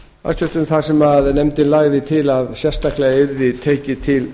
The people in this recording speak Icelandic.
hæstvirtur fjármálaráðherra þar sem nefndin lagði til að sérstaklega yrði tekið til